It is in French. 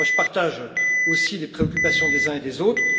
Je partage aussi les préoccupations des uns et des autres.